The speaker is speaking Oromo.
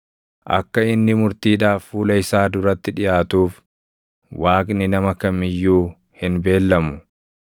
Akka inni murtiidhaaf fuula isaa duratti dhiʼaatuuf, Waaqni nama kam iyyuu hin beellamu.